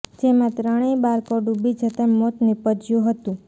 જેમાં ત્રણેય બાળકો ડુબી જતા મોત નીપજ્યું હતું